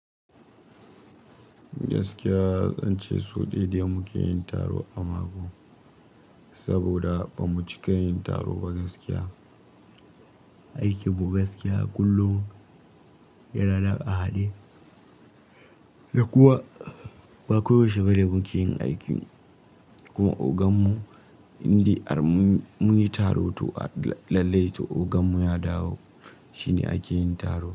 Gaskiya zance sau ɗaya de muke yin taro a mako, saboda bamu cika yin taro ba gaskiya. Aikin mu gaskiya kullum, yana da ƙahaɗi, da kuma ba koyaushe bane muke yin aiki. Kuma oganmu inde munyi taro to a lallai to oganmu ya dawo, shine ake yin taro.